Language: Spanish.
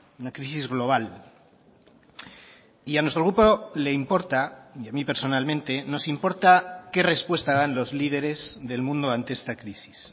una crisis global y a nuestro grupo le importa y a mí personalmente nos importa qué respuesta dan los líderes del mundo ante esta crisis